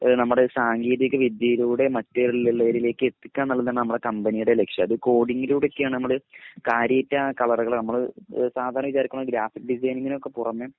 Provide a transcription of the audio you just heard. അഹ് നമ്മുടെ സാങ്കേതിക വിദ്യയിലൂടെ മറ്റുള്ളവരിലേക് എത്തിക്ക എന്നുള്ളതാണ് നമ്മുടെ കമ്പനിടെ ലക്‌ഷ്യം അത് കോഡിങ്ങിലൂടെ ഒക്കെ നമ്മൾ കാര്യായിട്ട് ആ കളറുകൾ നമ്മൾ സാധരണ വിചാരിക്കുന്നത് പോലെ ഗ്രാഫിക് ഡിസൈനിങ്ങിനൊക്കെ പുറമെ